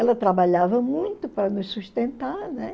Ela trabalhava muito para nos sustentar, né?